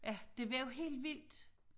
Ja det var jo helt vildt